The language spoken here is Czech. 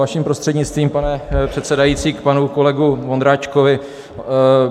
Vaším prostřednictvím, pane předsedající, k panu kolegovi Ondráčkovi.